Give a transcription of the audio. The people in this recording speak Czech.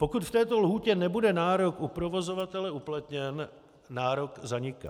Pokud v této lhůtě nebude nárok u provozovatele uplatněn, nárok zaniká.